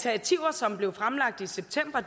som blev fremlagt i september